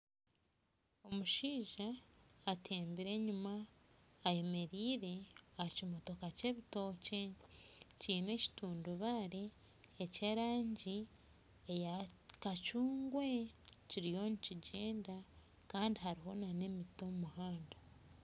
Omushaija atembire enyima ayemereire aha kimotoka ky'ebitookye kiine ekitundubaare eky'erangi eya kacuungwe. Kiriyo nikigyenda. Kandi hariho n'emiti omu muhanda.